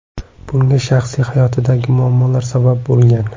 Bunga shaxsiy hayotidagi muammolar sabab bo‘lgan.